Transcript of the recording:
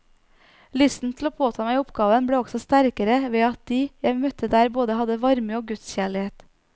Lysten til å påta meg oppgaven ble også sterkere ved at de jeg møtte der både hadde varme og gudskjærlighet.